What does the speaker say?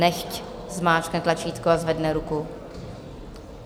Nechť zmáčkne tlačítko a zvedne ruku.